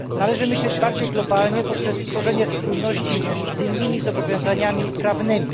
Należy myśleć bardziej globalnie poprzez stworzenie spójności z innymi zobowiązaniami prawnymi.